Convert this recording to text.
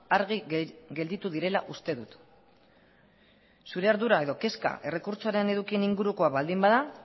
argi gelditu direla uste dut zure ardura edo kezka errekurtsoaren edukien ingurukoa baldin bada